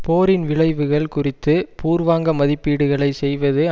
போரின் விளைவுகள் குறித்து பூர்வாங்க மதிப்பீடுகளை செய்வது